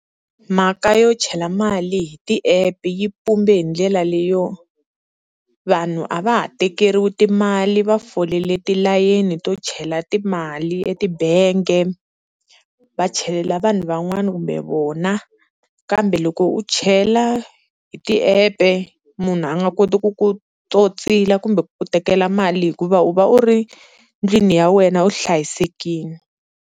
Mhaka yo chela mali hi ti-app yi mpumbe hi ndlela leyo, vanhu a va ha tekeriwi timali va fole tilayeni to chela timali etibangi va chelela vanhu van'wani kumbe vona, kambe loko u chela hi ti-app munhu a nga koti ku ku totsila kumbe ku ku tekela mali hikuva u va u ri ndlwini ya wena u hlayisekile.